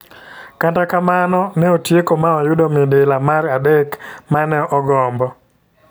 Kata kamano ne otieko ma oyudo midila mar adek mane ogombo.